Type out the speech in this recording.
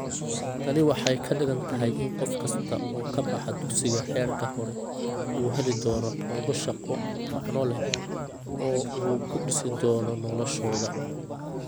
Tani waxay ka dhigan tahay in qof kasta oo ka baxa dugsiga heerka hore uu heli doono xoogaa shaqo macno leh oo uu ku dhisi doono noloshooda.